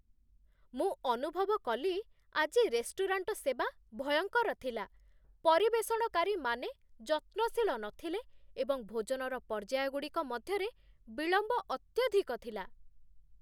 ମୁଁ ଅନୁଭବ କଲି ଆଜି ରେଷ୍ଟୁରାଣ୍ଟ ସେବା ଭୟଙ୍କର ଥିଲା। ପରିବେଷଣକାରୀମାନେ ଯତ୍ନଶୀଳ ନଥିଲେ ଏବଂ ଭୋଜନର ପର୍ଯ୍ୟାୟ ଗୁଡ଼ିକ ମଧ୍ୟରେ ବିଳମ୍ବ ଅତ୍ୟଧିକ ଥିଲା